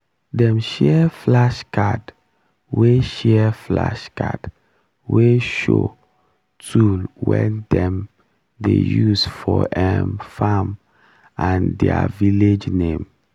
dem share flashcard wey share flashcard wey show tool wey dem dey use for um farm and der village name